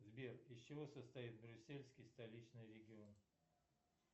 сбер из чего состоит брюссельский столичный регион